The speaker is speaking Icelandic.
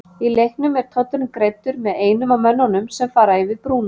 Í leiknum er tollurinn greiddur með einum af mönnunum sem fara yfir brúna.